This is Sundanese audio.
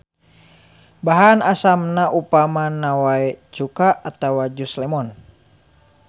Bahan asamna upamana wae cuka atawa jus lemon.